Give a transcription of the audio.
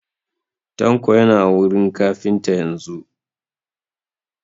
Tanko yana wurin kafintan yanzun